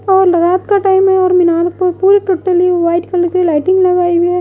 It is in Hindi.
रात का टाइम है और मीनार पर पूरी टोटली व्हाइट कलर की लाइटिंग लगाई हुई है।